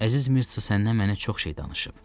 Əziz Mirtsu səndən mənə çox şey danışıb.